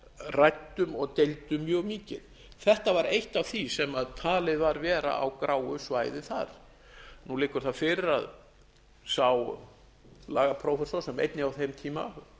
ræddum og deildum mjög mikið þetta var eitt af því sem talið var vera á gráu svæði þar nú liggur það fyrir að sá lagaprófessor sem einnig á þeim tíma